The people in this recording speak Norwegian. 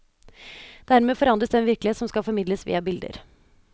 Dermed forandres den virkelighet som skal formidles via bilder.